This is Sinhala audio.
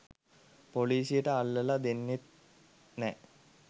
පොලිසියට අල්ලල දෙන්නෙත් නෑ.